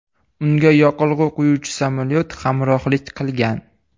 Unga yoqilg‘i quyuvchi samolyot hamrohlik qilgan.